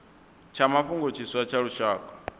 tsha mafhungo tshiswa tsha lushaka